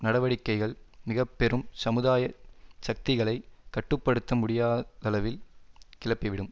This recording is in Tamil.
நடவடிக்கைகள் மிக பெரும் சமுதாய சக்திகளைக் கட்டு படுத்த முடியா தளவில் கிளப்பிவிடும்